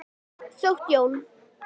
Þótt Jón.